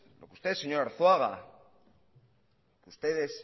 usted señor arzuaga ustedes